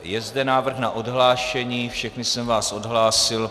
Je zde návrh na odhlášení, všechny jsem vás odhlásil.